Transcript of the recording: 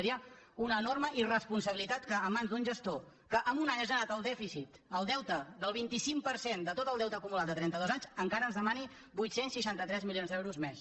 seria una enorme irresponsabilitat que en mans d’un gestor que en un any ha generat el dèficit el deute del vint cinc per cent de tot el deute acumulat de trentados anys encara ens demani vuit cents i seixanta tres milions d’euros més